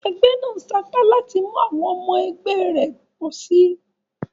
Egbé nàá sapá láti mú àwon omo egbé rè pòsi